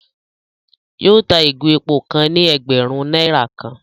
Yóò tá ìgò èpò kàn ni ẹgbẹrun náírà kàn